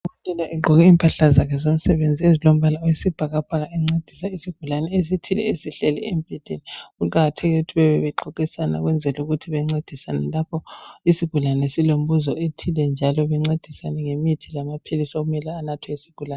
Udokotela egqoke impahla zakhe zomsebenzi ezilombala oyisibhakabhaka encedisa isigulane esithile esihleli embhedeni. Kuqakathekile ukuthi bebebexoxisana ukwenzela ukuthi bencedisane lapho isigulane silembuzo ethile, njalo bencedisane ngemithi lamaphilisi okumele anathwe yisigulane.